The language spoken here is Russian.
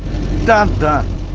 да да